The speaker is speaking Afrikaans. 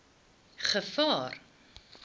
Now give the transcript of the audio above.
gevaar